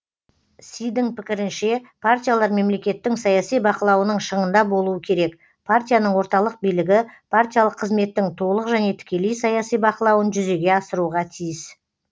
сидің пікірінше партиялар мемлекеттің саяси бақылауының шыңында болуы керек партияның орталық билігі партиялық қызметтің толық және тікелей саяси бақылауын жүзеге асыруға тиіс